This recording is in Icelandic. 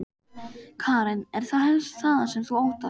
Karen: Er það helst það sem þú óttast?